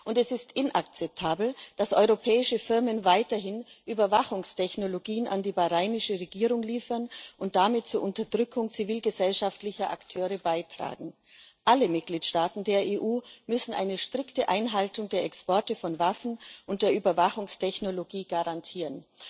Und es ist inakzeptabel, dass europäische Firmen weiterhin Überwachungstechnologien an die bahrainische Regierung liefern und damit zur Unterdrückung zivilgesellschaftlicher Akteure beitragen. Alle Mitgliedstaaten der EU müssen die strikte Einhaltung der Exportbeschränkungen von Waffen und Überwachungstechnologie garantieren.